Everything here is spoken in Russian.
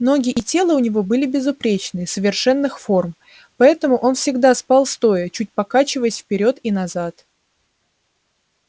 ноги и тело у него были безупречные совершенных форм поэтому он всегда спал стоя чуть покачиваясь вперёд и назад